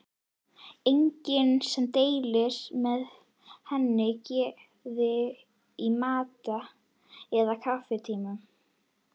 Enginn sem deilir með henni geði í matar- eða kaffitímum.